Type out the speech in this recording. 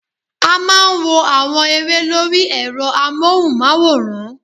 A máa n wo àwọn eré lórí èrọ amóhùn máwòrán